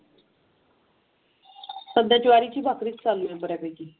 सध्या ज्वारीची भाकरी चालू बळी.